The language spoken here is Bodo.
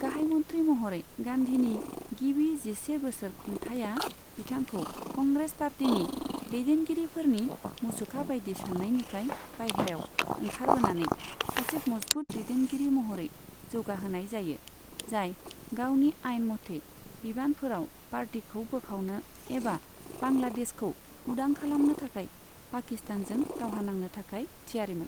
गाहायमन्त्रि महरै गान्धीनि गिबि जिसे बोसोर खुंथाइया बिथांखौ कंग्रेस पार्टीनि दैदेनगिरिफोरनि मुसुखाबायदि साननायनिफ्राय बाइह्रायाव ओंखारबोनानै सासे मजबुत दैदेनगिरि महरै जौगाहोनाय जायो, जाय गावनि आइनमथै बिबानफोराव पार्टीखौ बोखावनो एबा बांग्लादेशखौ उदां खालामनो थाखाय पाकिस्तानजों दावहा नांनो थाखाय थियारिमोन।